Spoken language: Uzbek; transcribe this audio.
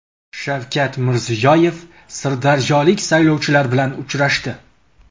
Shavkat Mirziyoyev sirdaryolik saylovchilar bilan uchrashdi.